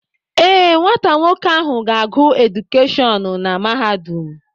Ee, nwata nwoke ahụ ga-agụ edukeshọn na mahadum.